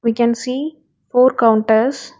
We can see four counters.